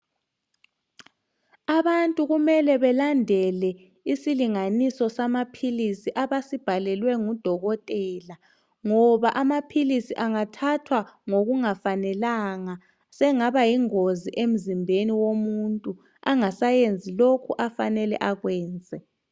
Abantu kumele belandele isilinganiswa samaphilisi abasibhalelwe ngudokotela ngoba amaphilisi angathathwa ngokungafanelanga sengaba yingozi emzimbeni womuntu angasayenzi lokhu afanele akwenze.